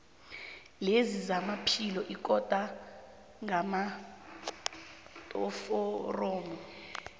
lezamaphilo iqunta ngamaforomo